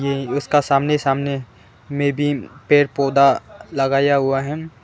ये उसका सामने सामने में भी पेड़ पौधा लगाया हुआ है।